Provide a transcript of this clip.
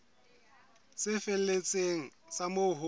tse felletseng tsa moo ho